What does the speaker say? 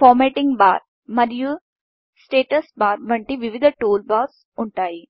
formatting bar మరియు status bar వంటి వివిధ టూల్బార్స్ ఉంటాయి